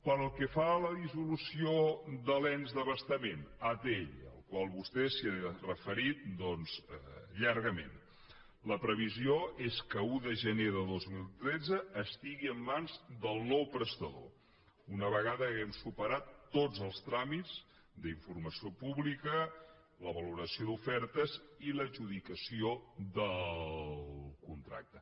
pel que fa a la dissolució de l’ens d’abastament atll a la qual vostè s’ha referit llargament la previsió és que l’un de gener de dos mil tretze estigui en mans del nou prestador una vegada haguem superat tots els tràmits d’informació pública la valoració d’ofertes i l’adjudicació del contracte